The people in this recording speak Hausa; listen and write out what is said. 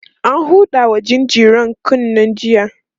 an Huda wa jinjirar kunne jiya